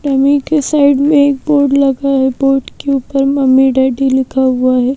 Mummy के side में एक बोर्ड लगा है बोर्ड के ऊपर मम्मी डैडी लिखा हुआ है।